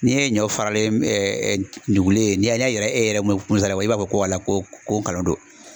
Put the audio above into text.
N'e ye ɲɔ faralen nugulen ye n'i y'a yira e yɛrɛ Mu Musa la i b'a fɔ ko wala ko ko ngalon don